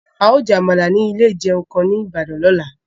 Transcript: A ó jẹ́ Àmàlà ní ilé ìjẹun kan ní Ìbàdàn lọ́la